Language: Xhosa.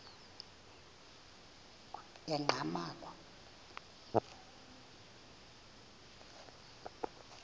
enqgamakhwe